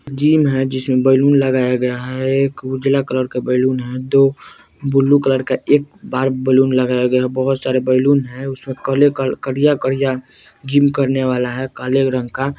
जिम है जिसमें बलून लगाया गया है एक उजला कलर के बैलून है दो ब्लू कलर का एक बार बैलून लगाया गया बहुत सारे बलुन है उसमें काले करिया-करिया जिम करने वाला है काले रंग का --